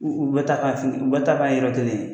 U bɛ taa ka u bɛ taa kan yɛrɛ to de.